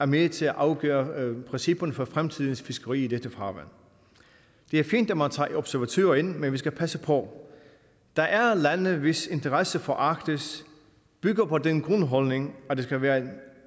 med til at afgøre principperne for fremtidens fiskeri i dette farvand det er fint at man tager observatører ind men vi skal passe på der er lande hvis interesse for arktis bygger på den grundholdning at det skal være et